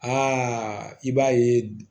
Aa i b'a ye